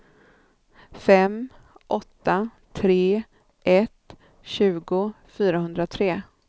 fem åtta tre ett tjugo fyrahundratre